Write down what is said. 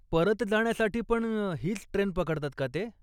परत जाण्यासाठी पण हीच ट्रेन पकडतात का ते?